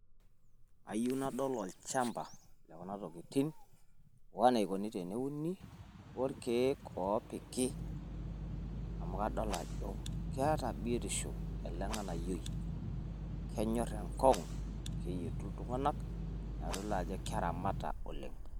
Ayieu nadol olchamba le kuna tokitin o naikoni teneuni olkiek oopiki amu kadol ajo keeta biotisho ele ng`anayioi. Kenyorr enkong`u keyietu iltung`anak naa kitodolu ajo keramata oleng.